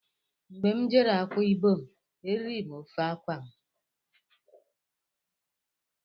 Mgbé m jere Akwa ibom, eriri ofe afang